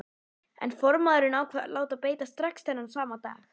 En formaðurinn ákvað að láta beita strax þennan sama dag.